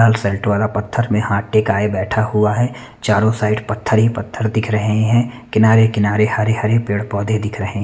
वाला पत्थर में हाथ टिकाये बेठा हुआ है चारो साइड पत्थर ही पत्थर दिख रहे हैं किनारे-किनारे हरे हरे पेड़ पोधे दिख रहे--